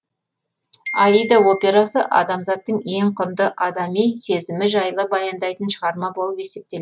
аида операсы адамзаттың ең құнды адами сезімі жайлы баяндайтын шығарма болып есептеледі